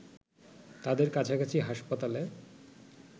তাদের কাছাকাছি হাসপাতালে